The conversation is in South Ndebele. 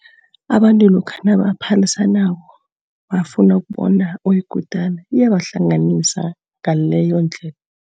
Abantu lokha nabaphalisanako, bafuna ukubona oyikutana. Iyabahlanganisa ngaleyondlela.